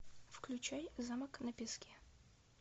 включай замок на песке